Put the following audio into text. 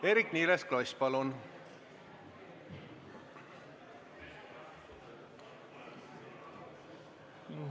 Eerik-Niiles Kross, palun!